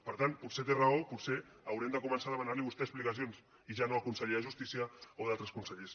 per tant potser té raó potser haurem de començar a demanar li a vostè explicacions i ja no al conseller de justícia o a altres consellers